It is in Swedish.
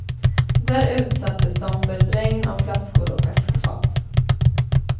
Där utsattes de för ett regn av flaskor och askfat.